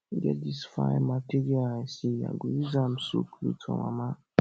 e get dis fine material i see i go use am sew cloth for mama